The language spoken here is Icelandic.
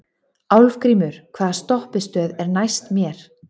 Álfgrímur, hvaða stoppistöð er næst mér?